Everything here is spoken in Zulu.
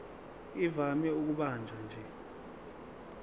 ivame ukubanjwa nje